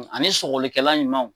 Ani sɔgɔlikɛla ɲumanw